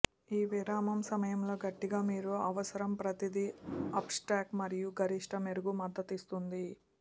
ఈ విరామం సమయంలో గట్టిగా మీరు అవసరం ప్రతిదీ అప్ స్టాక్ మరియు గరిష్ట మెరుగు మద్దతిస్తుంది